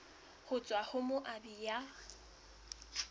ho tswa ho moabi ya